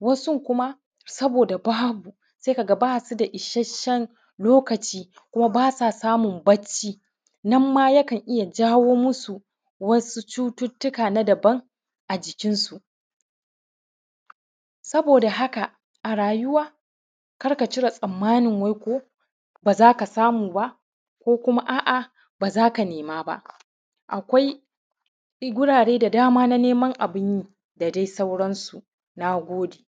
Wasun kuma saboda babu sai kaga basu da isashen lokaci kuma basa samun barci nanma ya kan iya jawo musu wasu cututuka na daban a jikinsu. Saboda haka a rayuwa kar ka cire tsammanin wai ko bazaka samu ba, ko kuma a’a bazaka nema ba, akwai gurare da dama na neman abinyi da dai sauransu. Na gode.